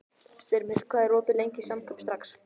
Styrmir, hvað er opið lengi í Samkaup Strax?